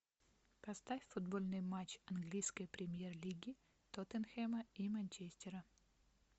поставь футбольный матч английской премьер лиги тоттенхэма и манчестера